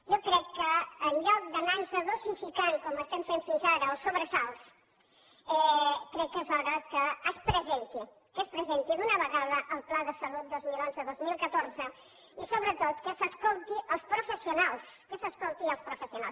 jo crec que en lloc d’anar nos dosificant com estem fent fins ara els sobresalts crec que és hora que es presenti que es presenti d’una vegada el pla de salut dos mil onze dos mil catorze i sobretot que s’escoltin els professionals que s’escoltin els professionals